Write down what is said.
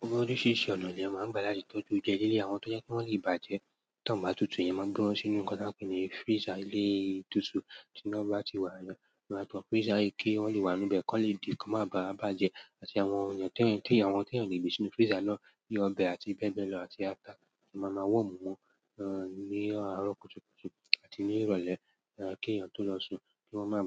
Gbogbo oríṣiríṣi ọ̀nà ni wọ́n máa ń gbà láti tọ́jú oúnjẹ. Lélé àwọn tó jẹ́ kí wọ́n lè bàjẹ́ tí wọ́n bá tutù, yẹn máa gbé wọn sínú nǹkan tí a ń pè ní freezer ilé ìtúsú tí iná bá ti wà. Ìwọ àtọ́ freezer yí kí wọ́n lè wà níbẹ̀ kí wọ́n lè di kò máa bàjẹ́. Àti àwọn èèyàn tó yà wọ́n tó yà níbi sínú freezer náà bí i ọbẹ̀ àti bẹ́ẹ̀ bẹ́ẹ̀ lọ àti ata àti màmá wọ̀nù wọn ní àárọ̀ kùtùkùtù àti ní ìrọ̀lẹ́ kí èèyàn tó lọ sun kí wọ́n máa